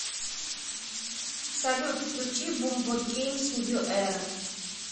салют включи бумботгеймс нью эра